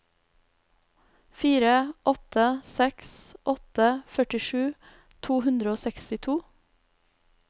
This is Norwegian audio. fire åtte seks åtte førtisju to hundre og sekstito